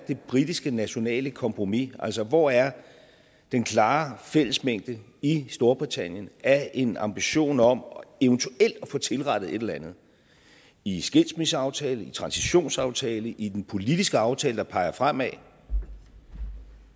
det britiske nationale kompromis er altså hvor er den klare fællesmængde i storbritannien af en ambition om eventuelt at få tilrettet et eller andet i skilsmisseaftalen i transitionsaftalen i den politiske aftale der peger fremad